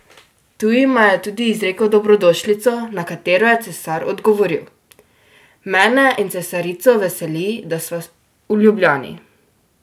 Tu jima je tudi izrekel dobrodošlico, na katero je cesar odgovoril: "Mene in cesarico veseli, da sva v Ljubljani.